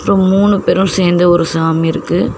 அப்ரோ மூணு பேரும் சேர்ந்து ஒரு சாமி இருக்கு.